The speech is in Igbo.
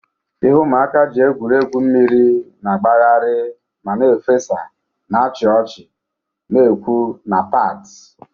Ihe ụmụaka ji egwuri egwu mmiri na-agbagharị ma na-efesa, na-achị ọchị na-ekwu na bati.